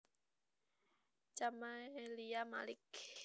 Camelia Malik